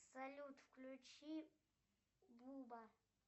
салют включи буба